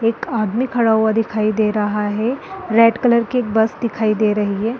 एक आदमी खड़ा हुआ दिखाई दे रहा है रेड कलर की एक बस दिखाई दे रही है।